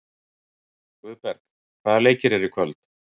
Guðberg, hvaða leikir eru í kvöld?